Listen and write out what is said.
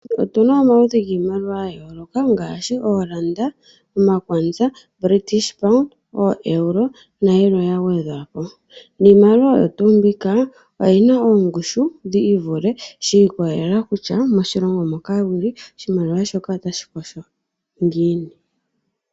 Otuna omaludhi giimaliwa ya yooloka ngaashi oolanda, omakwanza, British pound, ooEuro na yilwe ya gwedhwa po niimaliwa oyo tuu mbika oyina oongushu dhiivule shi ikolelela kutya moshilongo moka wuli oshimaliwa shoka otashi kosho ngiini.